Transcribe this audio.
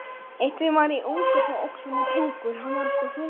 Þannig getur þetta verið.